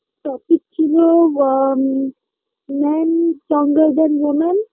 topic ছিল আ ম man stronger than woman